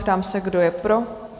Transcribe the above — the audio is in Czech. Ptám se, kdo je pro?